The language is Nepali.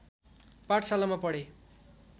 पाठशालामा पढे